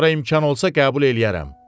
Sonra imkan olsa qəbul eləyərəm.